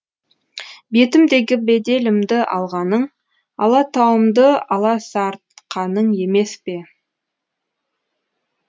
бетімдегі беделімді алғаның алатауымды аласартқаның емес пе